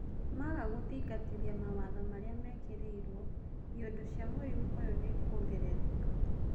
Maga gũthingatithia mawatho marĩa mekĩrirwo, iondũ cia mũrimũ ũyũ nĩikuongerereka.